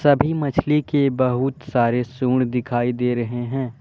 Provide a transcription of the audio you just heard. सभी मछली के बहुत सारे सूंड दिखाई दे रहे हैं।